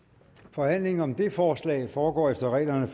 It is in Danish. forhandlingen om det forslag foregår efter reglerne